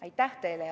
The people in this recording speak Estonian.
Aitäh teile!